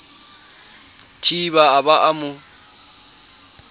thiba a ba a mo